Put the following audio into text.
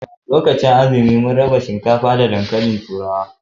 Lokacin azumi mun raba shinkafa da dankalin turawa